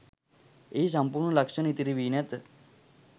එහි සම්පූර්ණ ලක්ෂණ ඉතිරිවී නැත